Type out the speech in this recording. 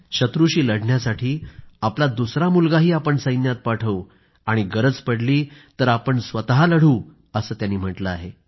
शत्रूशी लढण्यासाठी आपला दुसरा मुलगाही आपण सैन्यात पाठवू आणि गरज पडली तर आपण स्वतः लढू असं त्यांनी म्हटलं आहे